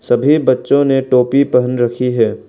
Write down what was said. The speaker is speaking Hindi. सभी बच्चों ने टोपी पहन रखी है।